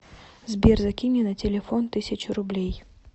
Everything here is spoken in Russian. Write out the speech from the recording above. сбер закинь мне на телефон тысячу рублей